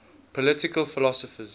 political philosophers